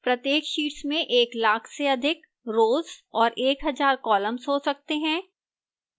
प्रत्येक sheets में एक लाख से अधिक rows और एक हजार columns हो सकते हैं